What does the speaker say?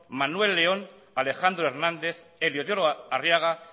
manuel león alejandro hernández eliodoro arriaga